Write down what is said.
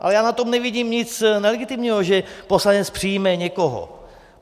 Ale já na tom nevidím nic nelegitimního, že poslanec přijme někoho.